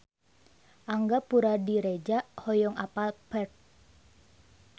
Angga Puradiredja hoyong apal Perth